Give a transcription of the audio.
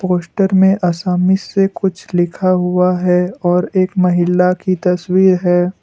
Poster में आसामी से कुछ लिखा हुआ है और एक महिला की तस्वीर है।